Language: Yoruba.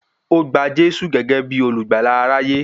Ó gba Jésù gẹ́gẹ́ bí olùgbàlà aráyé